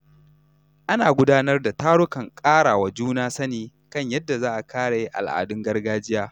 Ana gudanar da tarukan ƙarawa juna sani kan yadda za a kare al’adun gargajiya.